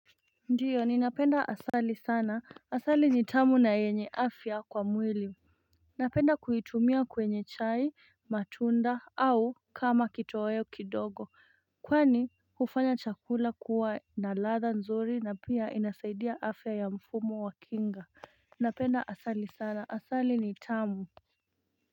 Ndiyo ni napenda asali sana asali ni tamu na yenye afya kwa mwili Napenda kuitumia kwenye chai matunda au kama kito weo kidogo kwani ufanya chakula kuwa na ladha nzuri na pia inasaidia afya ya mfumo wa kinga Napenda asali sana asali ni tamu.